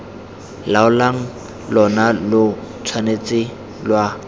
laolang lona lo tshwanetse lwa